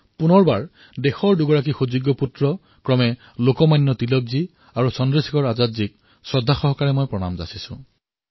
পুনৰবাৰ ভাৰত মাতাৰ দুজন সুপুত্ৰ লোকমান্য তিলক আৰু চন্দ্ৰশেখৰ আজাদক শ্ৰদ্ধাৰে সোঁৱৰিছো